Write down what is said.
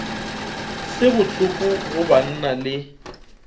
se bohloko go banna le